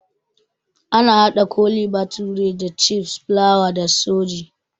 Ana haɗa Kole bathure da cikpeas, fulawa da sooji